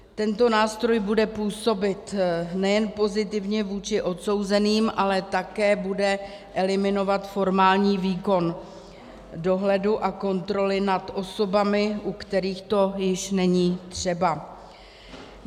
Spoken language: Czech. Tento nástroj bude působit nejen pozitivně vůči odsouzeným, ale také bude eliminovat formální výkon dohledu a kontroly nad osobami, u kterých to již není třeba.